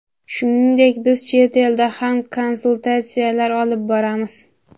Shuningdek biz chet elda ham konsultatsiyalar olib boramiz.